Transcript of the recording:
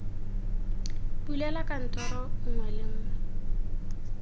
bulela kantoro nngwe le nngwe